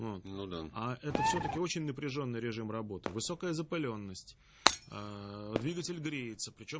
ну ну да а это всё-таки очень напряжённый режим работы высокая запылённость двигатель греется причём